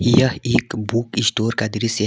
यह एक book store का दृश्य--